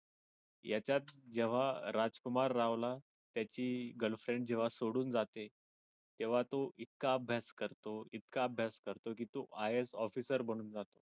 यांच्यात जेव्हा राजकुमार रावला त्याची girlfriend जेव्हा सोडून जाते तेव्हा तो इतका अभ्यास करतो एकटा अभ्यास करतो कि तो IAS officer बनून जातो.